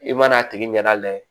I mana a tigi ɲɛda layɛ